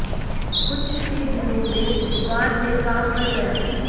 कुछ ही दिनों में दुकान में काम बढ़ गया